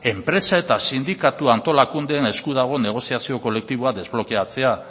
enpresa eta sindikatu antolakundeen esku dago negoziazio kolektiboa desblokeatzea